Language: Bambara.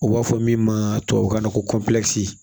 U b'a fɔ min ma tubabukan na ko